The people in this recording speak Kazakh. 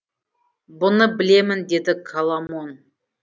бұны білемін деді коломон